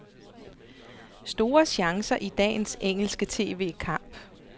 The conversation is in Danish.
Store chancer i dagens engelske tv-kamp.